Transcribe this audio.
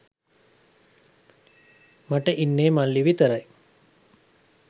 මට ඉන්නෙ මල්ලි විතරයි.